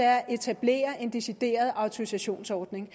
at etablere en decideret autorisationsordning